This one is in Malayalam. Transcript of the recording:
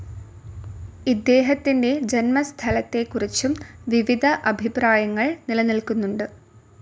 ഇദ്ദേഹത്തിന്റെ ജന്മസ്ഥലത്തെക്കുറിച്ചും വിവിധ അഭിപ്രായങ്ങൾ നിലനിൽക്കുന്നുണ്ട്.